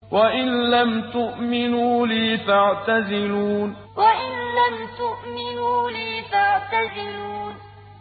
وَإِن لَّمْ تُؤْمِنُوا لِي فَاعْتَزِلُونِ وَإِن لَّمْ تُؤْمِنُوا لِي فَاعْتَزِلُونِ